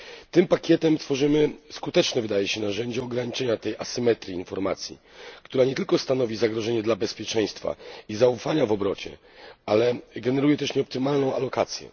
Tym pakietem tworzymy skuteczne, wydaje się, narzędzie ograniczenia tej asymetrii informacji, która nie tylko stanowi zagrożenie dla bezpieczeństwa i zaufania w obrocie, ale generuje też nieoptymalną alokację.